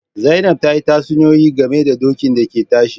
Zainab ta yi tatsuniyoyi game da dokin da ke tashi